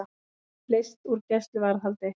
Leyst úr gæsluvarðhaldi